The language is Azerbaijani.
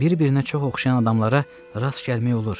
Bir-birinə çox oxşayan adamlara rast gəlmək olur.